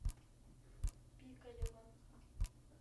пикалево